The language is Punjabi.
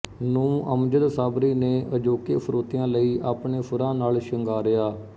ਨੂੰ ਅਮਜਦ ਸਾਬਰੀ ਨੇ ਅਜੋਕੇ ਸ਼ਰੋਤਿਆਂ ਲਈ ਆਪਣੇ ਸੁਰਾਂ ਨਾਲ ਸਿੰਗਾਰਿਆ